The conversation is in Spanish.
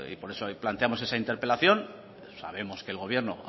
por eso planteamos esa interpelación sabemos que el gobierno